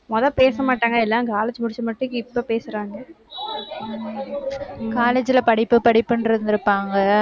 முத பேச மாட்டாங்க. எல்லாம், college முடிச்சு மட்டும், இப்ப பேசுறாங்க college ல படிப்பு, படிப்புன்றிருந்திருப்பாங்க.